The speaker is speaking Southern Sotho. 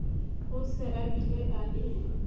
o se abile a le